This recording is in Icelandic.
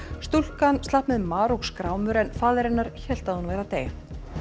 stúlkan slapp með mar og skrámur en faðir hennar hélt að hún væri að deyja